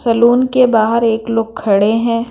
Salon के बाहर एक लोग खड़े हैं।